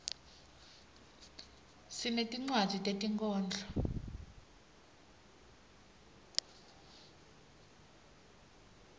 sinetinwadzi tetinkhondlo